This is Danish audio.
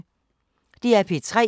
DR P3